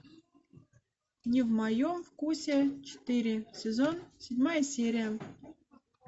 не в моем вкусе четыре сезон седьмая серия